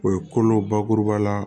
O ye kolo bakuruba la